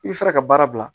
I bɛ fɛɛrɛ ka baara bila